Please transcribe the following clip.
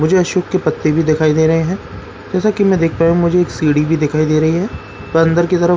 मुझे अशोक के पत्ते भी दिखाई दे रहे हैं जैसा कि मैं देख पाया हूं मुझे एक सीढ़ी भी दिखाई दे रही है पर अंदर की तरफ़ --